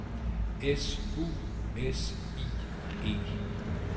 S U S I E